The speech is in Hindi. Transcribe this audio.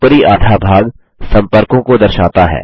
ऊपरी आधा भाग सम्पर्कों को दर्शाता है